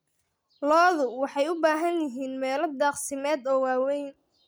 Lo'du waxay u baahan yihiin meelo daaqsimeed oo waaweyn.